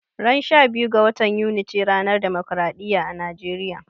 Ran 12 ga watan Yuni ce ranar demokaraɗiya a Nijeriya